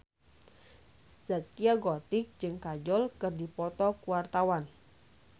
Zaskia Gotik jeung Kajol keur dipoto ku wartawan